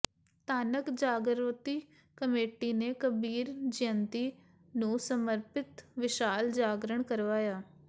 Dhanak Jagriti committee ਨੇ ਕਬੀਰ ਜਯੰਤੀ ਨੂੰ ਸਮਰਪਿਤ ਵਿਸ਼ਾਲ ਜਾਗਰਣ ਕਰਵਾਇਆ